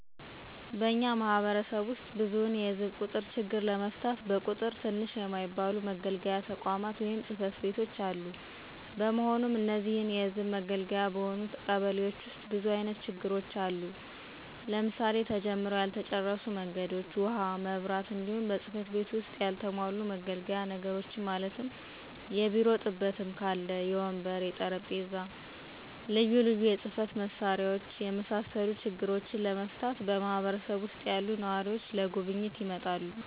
በእኛ ማህበረሰብ ዉስጥ ብዙዉን የህዝብ ቁጥር ችግር ለመፍታት በቁጥር ትንሽ የማይባሉ መገልገያ ተቋማት(ፅ/ቤቶች)አሉ። በመሆኑም እነዚህን የህዝብ መገልገያ በሆኑት ቀበሌዎች ዉስጥ ብዙ አይነት ችግሮች አሉ; ለምሳሌ፦ ተጀምረዉ ያልተጨረሱ መንገዶች፣ ዉሀ፣ መብራት፣ እንዲሁም በፅ/ቤቱ ዉስጥ ያልተሟሉ መገልገያ ነገሮችን ማለትም; የቢሮ ጥበትም ካለ, የወንበር፣ የጠረምጴዛ፣ ልዩ ልዩ የፅ/መሳሪያዎች የመሳሰሉ ችግሮችን ለመፍታት በማህበረሰብ ዉሰጥ ያሉ ነዋሪዎች ለጉብኝት ይመጣሉ።